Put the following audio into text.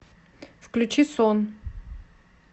включи сон